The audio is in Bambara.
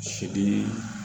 Sidi